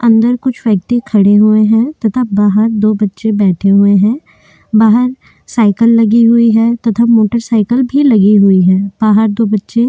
अंदर कुछ व्यक्ति खड़े हुए हैं तथा बाहर दो बच्चे बैठे हुए हैं बाहर साइकिल लगी हुई है तथा मोटरसाइकिल भी लगी हुई है बाहर दो बच्चे--